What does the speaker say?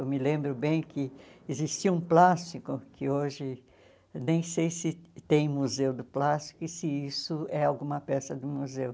Eu me lembro bem que existia um plástico que hoje nem sei se tem museu do plástico e se isso é alguma peça do museu.